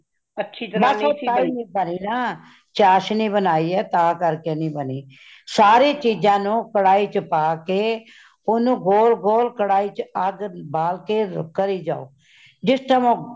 ਬਸ ਓਹ ਤਾਹਿ ਨਹੀਂ ਬਾਣੀ ਨਾ ਚਾਸ਼ਨੀ ਬਣਾਈ ਹੈ ਤਾ ਕਰ ਕੇ ਨਹੀਂ ਬਨੀ , ਸਾਰੀ ਚੀਜਾਂ ਨੂੰ ਕਢਾਈ ਵਿਚ ਪਾਕੇ ,ਓਨੁ ਗੋਲ ,ਗੋਲ ਕਢਾਈ ਵਿਚ ਅੱਗ ਬਾਲ ਕੇ ਕਰਿ ਜਾਓ ਜਿਸ time ਉਹ